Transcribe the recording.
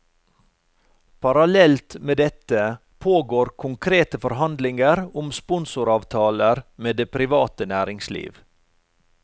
Parallelt med dette pågår konkrete forhandlinger om sponsoravtaler med det private næringsliv.